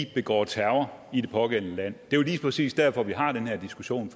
begår terror i det pågældende land det er jo lige præcis derfor at vi har den her diskussion